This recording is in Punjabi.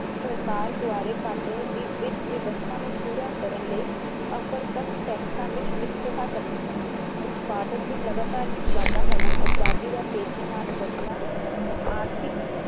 ਸਰਕਾਰ ਦੁਆਰੇ ਕਾਟੇ ਦੀ ਵਿੱਥ ਵਿਵਸਥਾ ਨੂੰ ਪੂਰਾ ਕਰਨ ਲਈ ਉੱਪਰ ਤਕ ਟੈਕਸਾ ਵਿੱਚ ਵਿਸਵਤਾ ਕਰਨਾ ਉਤਪਾਦਨ ਦੀ ਲਗਾਤਾਰ ਵਿੱਚ ਵਾਧਾ ਹੋਣਾ ਅਬਾਦੀ ਦਾ ਤੇਜ਼ੀ ਨਾਲ ਵਧਣਾ ਆਰਥਿਕ